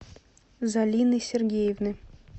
залины сергеевны